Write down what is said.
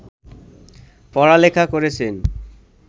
পড়া-লেখা করেছেন